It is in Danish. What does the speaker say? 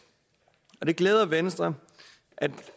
det glæder venstre